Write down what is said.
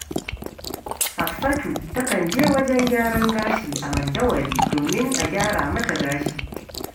Hafsatu takan je wajen gyaran gashi a Mandawari domin a gyara mata gashi